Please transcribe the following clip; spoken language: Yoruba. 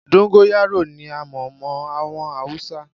Dóńgóyárò ni a mọ̀ mọ́ àwọn Haúsá.